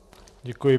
Děkuji.